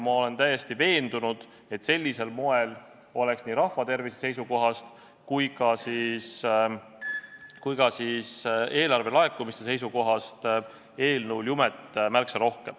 Ma olen täiesti veendunud, et sellisel moel oleks nii rahva tervise seisukohast kui ka eelarve laekumiste seisukohast eelnõul jumet märksa rohkem.